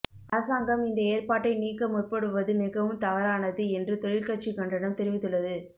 அரசாங்கம் இந்த ஏற்பாட்டை நீக்க முற்படுவது மிகவும் தவறானது என்று தொழிற்கட்சி கண்டனம் தெரிவித்துள்ளது